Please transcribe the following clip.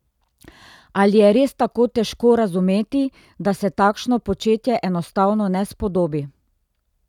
Ali je res tako težko razumeti, da se takšno početje enostavno ne spodobi?